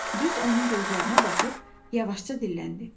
Düz onun gözlərinə baxıb yavaşca dilləndi.